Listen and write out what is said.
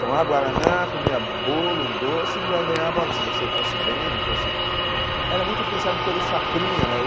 Tomava guaraná, comia bolo, doce e ainda ganhava, se você fosse bem, não fosse... Era muito influenciado pelo chacrinha, né?